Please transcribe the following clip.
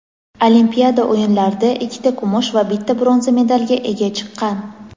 Olimpiada o‘yinlarida ikkita kumush va bitta bronza medalga ega chiqqan.